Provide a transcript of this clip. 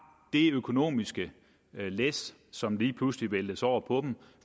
det økonomiske læs som lige pludselig væltes over på dem